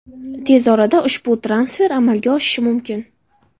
Tez orada ushbu transfer amalga oshishi mumkin.